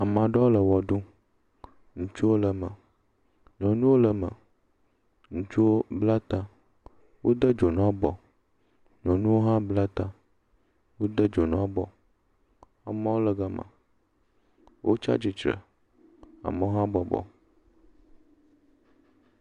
Ame aɖewo le wɔ ɖum. Ŋutsuwo le me, nyɔnuwo le eme, ŋutsuwo bla ta. Wode dzonu abɔ. Nyɔnuwo hã bla ta, wode dzonu abɔ. Amewo le gama, wotsia tsre, amewo hã bɔbɔ.